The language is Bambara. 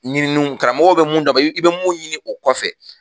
Ɲininiw karamɔgɔw be mun d'an ma i be mun ɲini o kɔfɛ